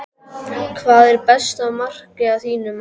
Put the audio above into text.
Hvað er besta markið að þínu mati?